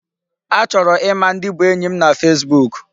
Achọrọ ịma ndị bụ enyi m na Facebook.